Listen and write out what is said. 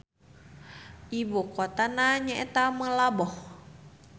Ibu kotana nyaeta Meulaboh.